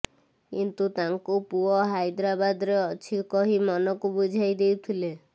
କିନ୍ତୁ ତାଙ୍କୁ ପୁଅ ହାଇଦ୍ରାବାଦରେ ଅଛି କହି ମନକୁ ବୁଝାଇ ଦେଉଥିଲେ